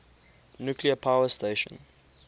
nuclear power station